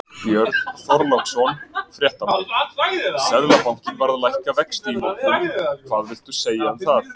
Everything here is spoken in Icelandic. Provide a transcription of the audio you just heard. Björn Þorláksson, fréttamaður: Seðlabankinn var að lækka vexti í morgunn, hvað villtu um það segja?